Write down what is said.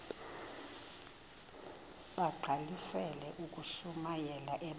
bagqalisele ukushumayela ebandleni